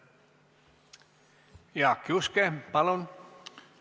Jaak Juske, palun!